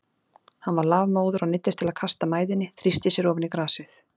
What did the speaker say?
Hann var lafmóður og neyddist til að kasta mæðinni, þrýsti sér ofan í grasið.